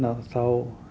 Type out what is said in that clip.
þá